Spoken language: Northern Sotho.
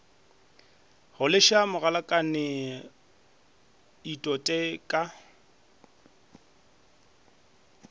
go leša mogalakane itote ka